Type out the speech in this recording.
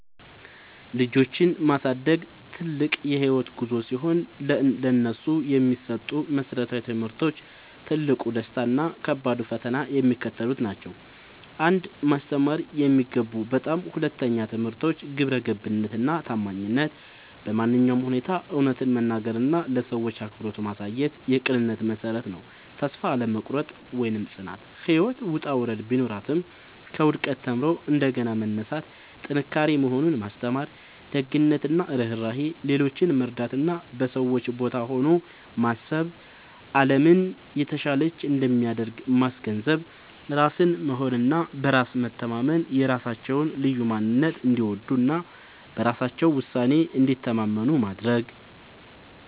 ልጆችን ማሳደግ ትልቅ የህይወት ጉዞ ሲሆን፥ ለነሱ የሚሰጡ መሰረታዊ ትምህርቶች፣ ትልቁ ደስታ እና ከባዱ ፈተና የሚከተሉት ናቸው 1. ማስተማር የሚገቡ በጣም አስፈላጊ ትምህርቶች ግብረገብነት እና ታማኝነት በማንኛውም ሁኔታ እውነትን መናገር እና ለሰዎች አክብሮት ማሳየት የቅንነት መሠረት ነው። ተስፋ አለመቁረጥ (ጽናት)፦ ህይወት ውጣ ውረድ ቢኖራትም፣ ከውድቀት ተምሮ እንደገና መነሳት ጥንካሬ መሆኑን ማስተማር። ደግነት እና ርህራሄ፦ ሌሎችን መርዳት እና በሰዎች ቦታ ሆኖ ማሰብ አለምን የተሻለች እንደሚያደርግ ማስገንዘብ። ራስን መሆን እና በራስ መተማመን፦ የራሳቸውን ልዩ ማንነት እንዲወዱ እና በራሳቸው ውሳኔ እንዲተማመኑ ማድረግ።